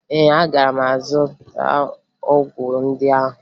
Ee, aga m azụta ọgwụ ndị ahụ